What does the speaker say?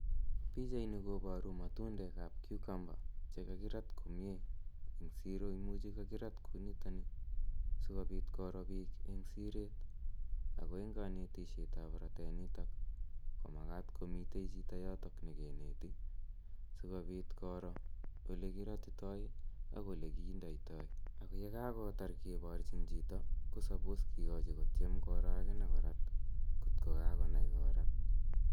Pichaini koparu matundek ap cucumber che kakirat komye eng' siro. Imuchi kakirat kou nitani asikopit koro piik eng' siret. Ako eng' kanetishet ap ratanitok ko makat komitei chito yotok ne kineti asikopit koro ole kiratitai ak ole kindeitai. Ak ye kaketar kiparchin chito ko suppose kikachi kotiem koro akine chito ngot ko kakonai korat.